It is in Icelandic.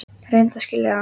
Reyndu að skilja það!